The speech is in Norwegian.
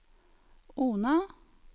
Ona